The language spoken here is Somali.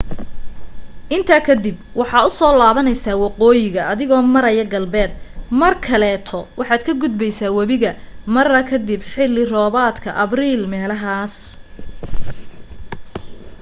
intaa kadib waxaa usoo laabneysa waqooyiga adigo maryaa galbeed mar kaleeto waxaad ka gudbeysa wabiga mara kadib xili roobadka abriil meelahas